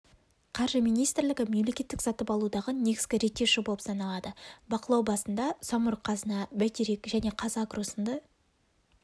қаржы министрлігі мемлекеттік сатып алудағы негізгі реттеуші болып саналады бақылау басында самрұқ-қазына бәйтерек және қазагро сынды